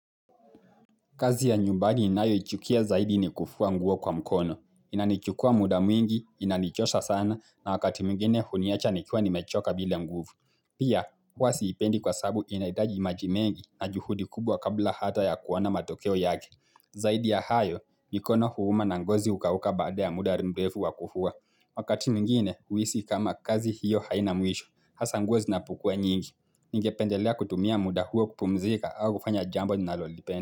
Kazi ya nyumbani ninayoichukia zaidi ni kufua nguo kwa mkono. Inanichukua muda mwingi, inanichosa sana na wakati mwingine huniacha nikiwa nimechoka bila nguvu. Pia, huwa siipendi kwa sababu inahitaji maji mengi na juhudi kubwa kabla hata ya kuona matokeo yake. Zaidi ya hayo, mikono huuma na ngozi hukauka baada ya muda mrefu wa kufua. Wakati mwingine, huhisi kama kazi hiyo haina mwisho. Hasa nguo zinapokua nyingi. Ningependelea kutumia muda huo kupumzika au kufanya jambo ninalolipenda.